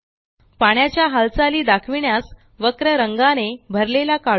पाण्याच्या हालचाली दाखविण्यास वक्र रंगाने भरलेला काढू